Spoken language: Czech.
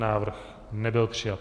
Návrh nebyl přijat.